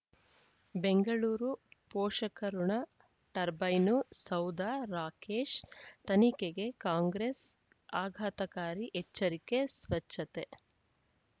ಬೆಂಗಳೂರು ಪೋಷಕಋಣ ಟರ್ಬೈನು ಸೌಧ ರಾಕೇಶ್ ತನಿಖೆಗೆ ಕಾಂಗ್ರೆಸ್ ಆಘಾತಕಾರಿ ಎಚ್ಚರಿಕೆ ಸ್ವಚ್ಛತೆ